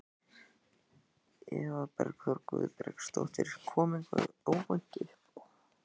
Eva Bergþóra Guðbergsdóttir: Kom eitthvað óvænt uppá?